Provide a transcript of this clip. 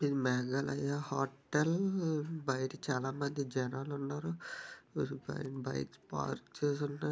ఇది మేఘాలయ హోటల్ బయట చాలా మంది జనాలు ఉన్నారు. ఈడ బైక్స్ పార్క్ ఉన్నాయి.